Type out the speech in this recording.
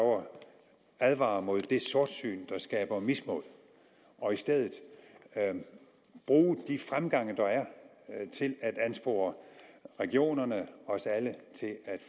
advare mod det sortsyn der skaber mismod og i stedet bruge de fremgange der er til at anspore regionerne os alle til at